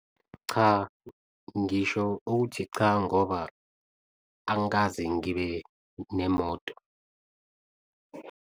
Cha, ngisho ukuthi cha ngoba, angikaze ngibe nemoto.